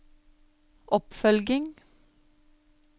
oppfølging